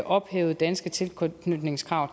ophævede danske tilknytningskrav